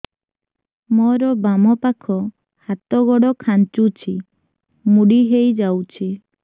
ମୋର ବାମ ପାଖ ହାତ ଗୋଡ ଖାଁଚୁଛି ମୁଡି ହେଇ ଯାଉଛି